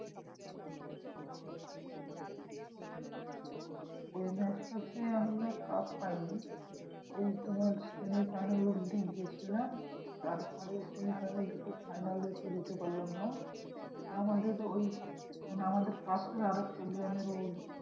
ওই match টা তে আমরা cup পাইনি। ওই তোমার semi final অব্ধি গিয়েছিলাম। তারপরে semi final থেকে final এ তো যেতে পারলাম না। আমাদের ওই মানে আমাদের পাশে আরেকটা